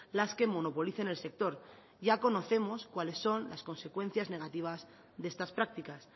las que monopolicen el sector ya conocemos cuáles son las consecuencias negativas de estas prácticas